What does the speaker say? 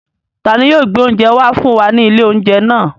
Ta ni yóò gbé oúnjẹ wá fún wa ní ilé-oúnjẹ náà?